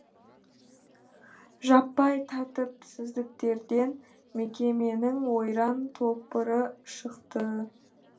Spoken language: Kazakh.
жаппай тәртіпсіздіктерден мекеменің ойран топыры шықты